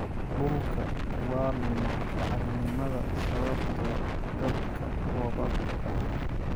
Dhulka waa lumaa bacrinimada sababtoo ah daadka roobabka badan.